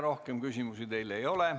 Rohkem küsimusi teile ei ole.